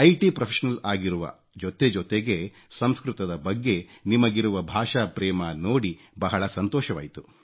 T professional ಆಗಿರುವ ಜೊತೆ ಜೊತೆಗೆ ಸಂಸ್ಕೃತದ ಬಗ್ಗೆ ನಿಮಗಿರುವ ಭಾಷಾಪ್ರೇಮ ನೋಡಿ ಬಹಳ ಸಂತೋಷವಾಯಿತು